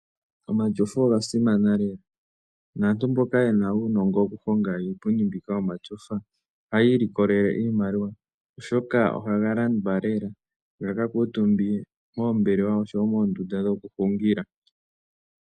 Omatyofa oga simana lela naantu mboka yena uunongo wokuhonga iipundi mbyoka yomatyofa ohaya ilikolele iimaliwa oshoka ohaga landwa lela gaka kuutumbwe moombelewa osho woo moondunda dhokuhungila.